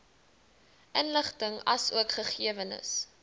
inligting asook gegewens